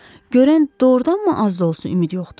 Görən doğurdanmı az da olsa ümid yoxdu?